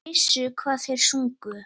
Þeir vissu hvað þeir sungu.